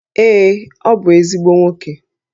Ee, ọ bụ ezigbo nwoke